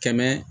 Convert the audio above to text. Kɛmɛ